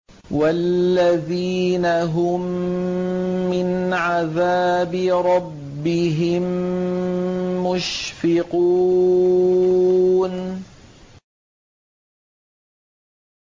وَالَّذِينَ هُم مِّنْ عَذَابِ رَبِّهِم مُّشْفِقُونَ